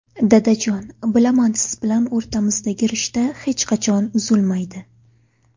Dadajon, bilaman siz bilan o‘rtamizdagi rishta hech qachon uzilmaydi.